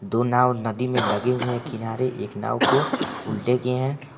दो नांव नदी में लगे हुए है किनारे एक नाव को उल्टे किये है।